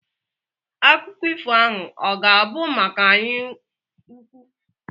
Akụkọ ifo ahụ ọ ga-abụ maka anyaukwu?